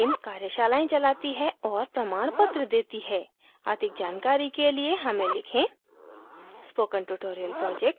spoken tutorial team कार्यशाला का आयोजन करती है और प्रमाणपत्र देती है अधिक जानकारी के लिए हमें लिखें